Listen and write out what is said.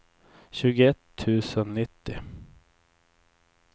tjugoett tusen nittio